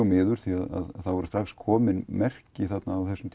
miður því það var strax komin merki þarna á þessum